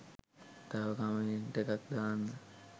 තව කමෙන්ට් එකක් දාන්න.